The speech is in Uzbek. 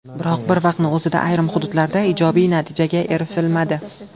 Biroq bir vaqtning o‘zida ayrim hududlarda ijobiy natijaga erishilmadi.